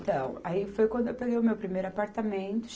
Então, aí foi quando eu peguei o meu primeiro apartamento.